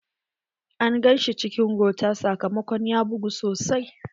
An gan shi cikin gota sakamakon ya bugu sosai.